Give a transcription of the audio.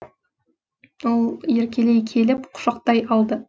ол еркелей келіп құшақтай алды